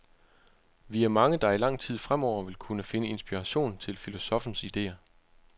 Vi er mange, der i lang tid fremover vil kunne finde inspiration i filosoffens ideer.